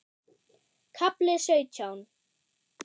KAFLI SAUTJÁN